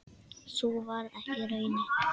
Sú varð ekki raunin.